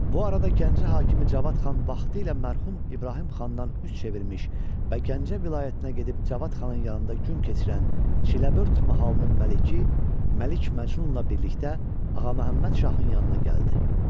Bu arada Gəncə hakimi Cavad xan vaxtilə mərhum İbrahim xandan üz çevirmiş və Gəncə vilayətinə gedib Cavad xanın yanında gün keçirən Çiləbörd mahalının məliki Məlik Məcnunla birlikdə Ağaməmməd şahın yanına gəldi.